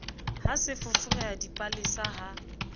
ha se foforeha dipalesa ha